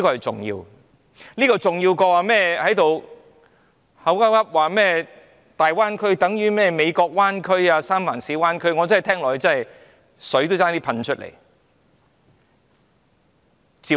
這點遠較那些指"大灣區等於美國灣區、三藩市灣區"的言論來得重要。